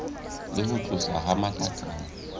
le ho tloswa ha matlakala